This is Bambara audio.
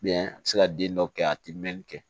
a bɛ se ka den dɔw kɛ a tɛ mɛnni kɛ